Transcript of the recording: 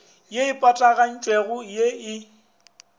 ye e patagantšwego ya e